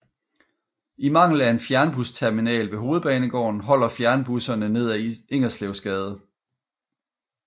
I mangel af en fjernbusterminal ved Hovedbanegården holder fjernbusserne ned ad Ingerslevsgade